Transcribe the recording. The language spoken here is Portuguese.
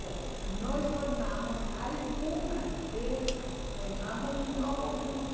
Bom, nós formamos algumas dessas, formamos um novo grupo.